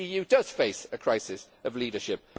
The EU does face a crisis of leadership.